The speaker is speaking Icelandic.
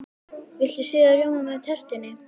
Viltu sýrðan rjóma með tertunni?